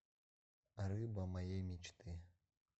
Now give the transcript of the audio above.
рыба моей мечты